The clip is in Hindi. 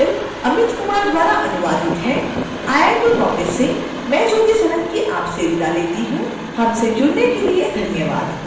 यह ट्यूटोरियल इं अमित कुमार द्वारा अनुवादित है आई आई टी बॉम्बे से मैं ज्योति सोलंकी आपसे विदा लेती हूँ हमसे जुड़ने के लिए धन्यवाद